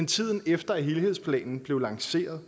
tiden efter at helhedsplanen blev lanceret